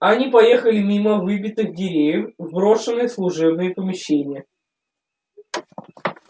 они поехали мимо выбитых дверей в брошенные служебные помещения